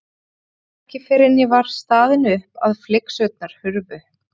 Það var ekki fyrr en ég var staðin upp að flygsurnar hurfu.